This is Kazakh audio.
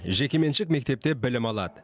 жекеменшік мектепте білім алады